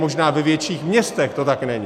Možná ve větších městech to tak není.